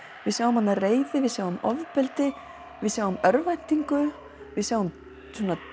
við sjáum þarna reiði við sjáum ofbeldi við sjáum örvæntingu við sjáum